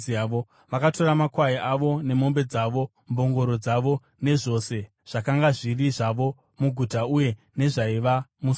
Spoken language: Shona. Vakatora makwai avo nemombe dzavo, mbongoro dzavo nezvose zvakanga zviri zvavo muguta uye nezvaiva musango.